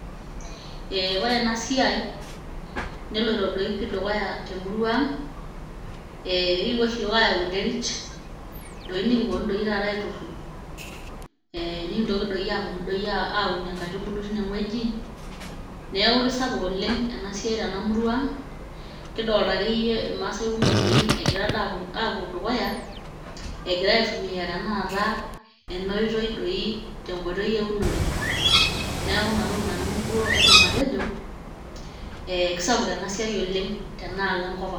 Ee ore ena siai neloito doi pii dukuya temurua ang' ee kakipuo oshi iyiook ayau enterit nikiponu doi taata aiturrur ee nikintoki doi aponu aunie inkaitubulu tinewueji neeku kesapuk oleng' ena siai tena murua ang' kidolta akeyie irmaasai kumok engira akeyie aapuo dukuya egira aitumia tenakata ena oitoi doi tenkoitoi eunore. Neeku ina toki nanu aidim atejo ee kesapuk ena siai oleng' tenaalo enkop ang'.